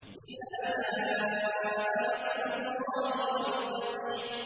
إِذَا جَاءَ نَصْرُ اللَّهِ وَالْفَتْحُ